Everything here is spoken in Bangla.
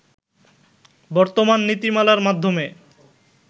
বর্তমান নীতিমালার মাধ্যমে